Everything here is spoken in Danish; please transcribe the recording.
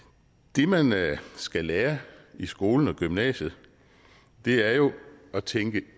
det man skal lære i skolen og gymnasiet er jo at tænke